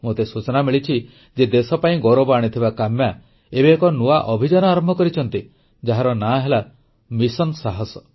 ମୋତେ ସୂଚନା ମିଳିଛି ଯେ ଦେଶପାଇଁ ଗୌରବ ଆଣିଥିବା କାମ୍ୟା ଏବେ ଏକ ନୂଆ ଅଭିଯାନ ଆରମ୍ଭ କରିଛନ୍ତି ଯାହାର ନାଁ ହେଲା ମିଶନ ସାହସ